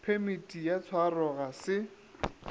phemiti ya tshwaro ga se